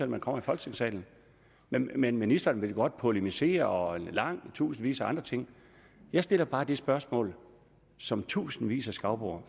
man kommer i folketingssalen men men ministeren vil godt polemisere og tusindvis af andre ting jeg stiller bare det spørgsmål som tusindvis af skagboer